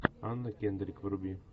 анна кендрик вруби